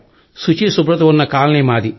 శుచీ శుభ్రత ఉన్న కాలనీ మాది